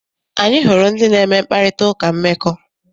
Anyị hụrụ ndị na-eme mkparitauka mmekọ.